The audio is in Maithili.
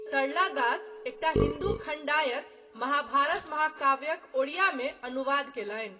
सरला दास, एकटा हिन्दू खण्डायत, महाभारत महाकाव्यक ओड़ियामे अनुवाद कयलनि।